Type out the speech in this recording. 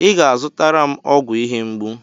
Ị ga-azụtara m ọgwụ ihe mgbu.